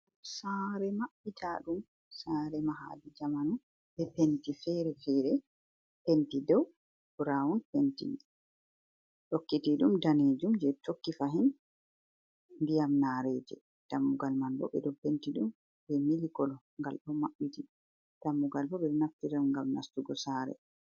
Sare maɓɓita ɗum, sare mahadi zamanu be penti fere-fere, penti dow braun pentini tokkiti ɗum danejum je tokki fahin ndiyam nareje dammugal man bo ɓeɗo penti ɗum be mili kolo gal ɗo maɓɓiti, dammugal bo bedo naftira ɗum gam nastugo sare.